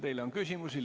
Teile on küsimusi.